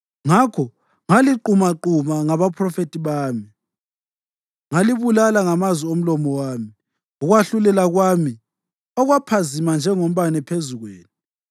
Ngakho ngaliqumaquma ngabaphrofethi bami, ngalibulala ngamazwi omlomo wami; ukwahlulela kwami kwaphazima njengombane phezu kwenu.